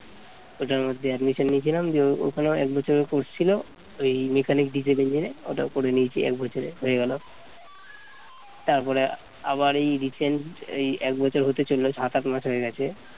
ওটার মধ্যে admission নিয়েছিলাম দিয়ে ওখানে এক বছরে course ছিল ওই mechanic ওটাও করে নিয়েছি এক বছরের হয়ে গেল তারপরে আবার এই recent এই এক বছর হতে চলল সাত আট মাস হয়ে গেছে